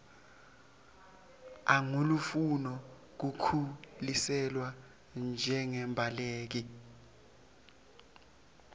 angulofuna kukhuseliswa njengembaleki